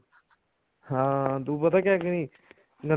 ਹਾਂ ਤੂੰ ਪਤਾ ਕੀ ਕਰੀ ਗੰਨਾ